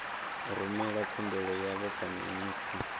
rumela khumbelo yavho kha minista